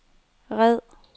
red